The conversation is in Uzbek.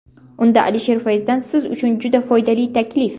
Unda Alisher Fayzdan siz uchun juda foydali taklif!.